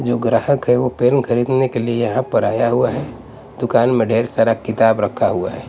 जो ग्राहक है वो पेन खरीदने के लिए यहाँ पर आया हुआ है दुकान में ढेर सारा किताब रखा हुआ है।